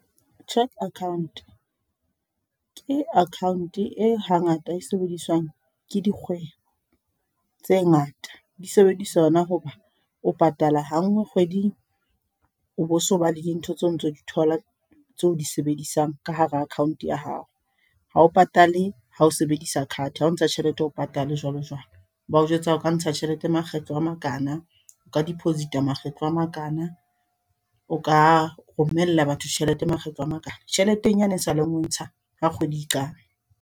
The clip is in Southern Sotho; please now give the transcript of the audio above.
Cheque account, ke account e hangata e sebediswang ke dikgwebo, tse ngata di sebedisa yona hoba o patala ha nngwe kgweding, o bo so ba le dintho tseo o ntso di thola tseo o di sebedisang ka hara account ya hao. Ha o patale ha o sebedisa card, ha o ntsha tjhelete ha o patale jwalo jwalo. Bao jwetsa o ka ntsha tjhelete makgetlo a makana, o ka deposit-a makgetlo a makana, o ka romella batho tjhelete makgetlo a makana. Tjheleteng yane haesale o e ntsha ha kgwedi e qala.